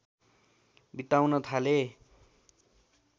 बिताउन थाले